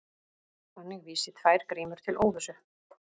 Þannig vísi tvær grímur til óvissu.